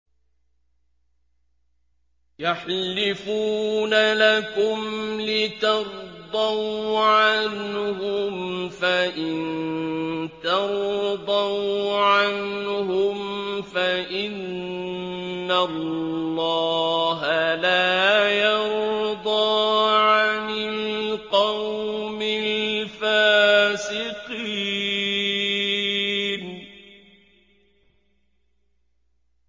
يَحْلِفُونَ لَكُمْ لِتَرْضَوْا عَنْهُمْ ۖ فَإِن تَرْضَوْا عَنْهُمْ فَإِنَّ اللَّهَ لَا يَرْضَىٰ عَنِ الْقَوْمِ الْفَاسِقِينَ